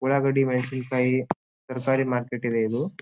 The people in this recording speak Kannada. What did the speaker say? ಉಳ್ಳಾಗಡ್ಡಿ ಮೆಣಸಿನಕಾಯಿ ತರಕಾರಿ ಮಾರ್ಕೆಟ್ ಇದೆ ಇದು .